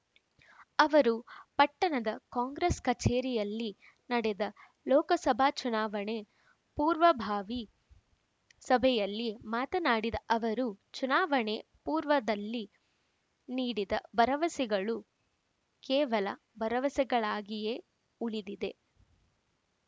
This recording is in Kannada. ಅವರು ಪಟ್ಟಣದ ಕಾಂಗ್ರೆಸ್‌ ಕಚೇರಿಯಲ್ಲಿ ನಡೆದ ಲೋಕಸಭಾ ಚುನಾವಣೆ ಪೂರ್ವಭಾವಿ ಸಭೆಯಲ್ಲಿ ಮಾತನಾಡಿದ ಅವರು ಚುನಾವಣೆ ಪೂರ್ವದಲ್ಲಿ ನೀಡಿದ ಭರವಸೆಗಳು ಕೇವಲ ಭರವಸೆಗಳಾಗಿಯೇ ಉಳಿದಿದೆ